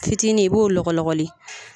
Fitinin i b'o lɔgɔlɔgɔli